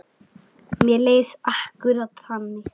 Mér leið akkúrat þannig.